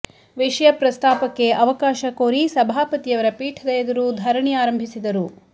ವಿಷಯ ಪ್ರಸ್ತಾಪಕ್ಕೆ ಅವಕಾಶ ಕೋರಿ ಸಭಾಪತಿಯವರ ಪೀಠದ ಎದುರು ಧರಣಿ ಆರಂಭಿಸಿದರು